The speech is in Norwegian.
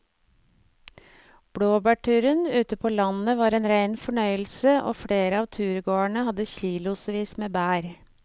Blåbærturen ute på landet var en rein fornøyelse og flere av turgåerene hadde kilosvis med bær.